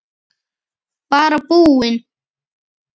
Bara búinn.